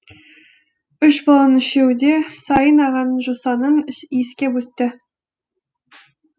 үш балаңның үшеуі де сайын ағаның жусанын иіскеп өсті